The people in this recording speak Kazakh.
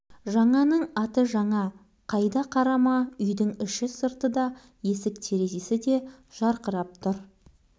бәрі көз тартады барлық жерден көңілділік еседі үлкен де кіші де қуанышты әсіресе балалар жағының қуанышы